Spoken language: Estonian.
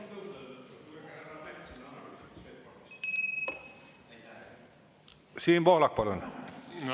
Siim Pohlak, palun!